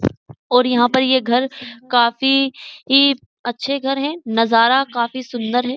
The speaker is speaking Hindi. और यहां पर ये घर काफी ही अच्छे घर है नजारा काफी सुंदर है।